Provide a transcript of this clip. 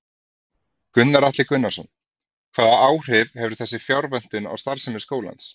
Gunnar Atli Gunnarsson: Hvaða áhrif hefur þessi fjárvöntun á starfsemi skólans?